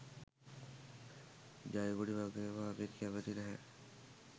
ජයකොඩි වගේම අපිත් කැමති නැහැ.